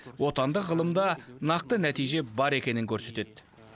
отандық ғылымда нақты нәтиже бар екенін көрсетеді